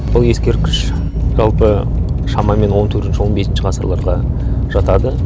бұл ескерткіш жалпы шамамен он төртінші он бесінші ғасырларға жатады